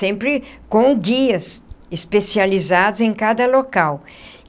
sempre com guias especializados em cada local.